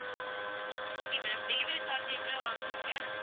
okay ma'am delivery charge எவ்ளோ வாங்குவீங்க